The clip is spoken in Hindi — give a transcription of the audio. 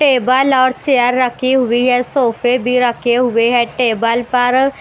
टेबल और चेयर रखी हुई है सोफे भी रखे हुए हैं टेबल पर--